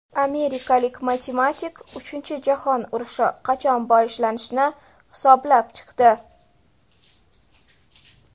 Amerikalik matematik uchinchi jahon urushi qachon boshlanishini hisoblab chiqdi.